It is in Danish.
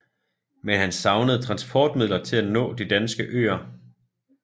Men han savnede transportmidler til at nå de danske øer